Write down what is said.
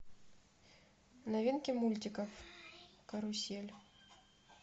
новинки мультиков карусель